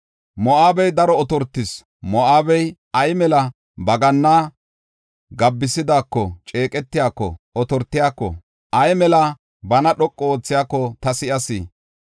Moo7abey daro otortis; Moo7abey ay mela ba ganna gabbisidaako, ceeqetiyako, otortiyako, ay mela bana dhoqu oothiyako, ta si7as.